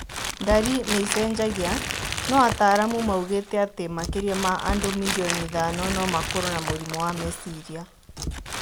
Ndari nĩicenjagia , no ataramu maugĩte atĩ makĩria ma andũ mirioni ithano no makorwo na mũrimũ wa meciria